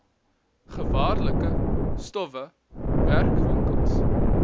gevaarlike stowwe werkwinkels